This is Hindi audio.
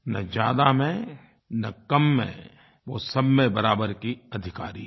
न ज़्यादा में न कम में वो सब में बराबर की अधिकारी है